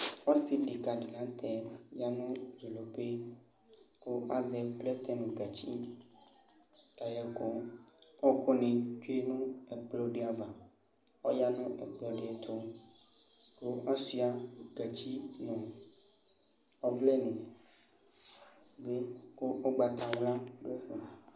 Ɔsɩ deka dɩ la nʋ tɛ ya nʋ dzodope kʋ azɛ plɛtɛ nʋ gatsi kayɛkʋ kʋ ɔɣɔkʋnɩ tsue nʋ ɛkplɔ dɩ ava Ɔya nʋ ɛkplɔ dɩ ɛtʋ kʋ asʋɩa gatsi nʋ ɔvlɛnɩ bɩ kʋ ʋgbatawla ɔdʋ ɛfɛ